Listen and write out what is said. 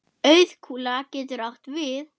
Auðkúla getur átt við